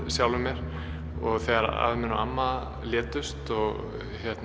sjálfum mér þegar amma létust og